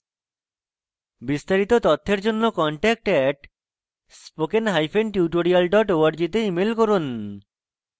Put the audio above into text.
বিস্তারিত তথ্যের জন্য contact @spokentutorial org তে ইমেল করুন